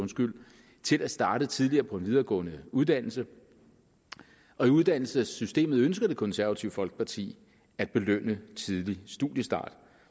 til at starte tidligere på en videregående uddannelse og i uddannelsessystemet ønsker det konservative folkeparti at belønne tidlig studiestart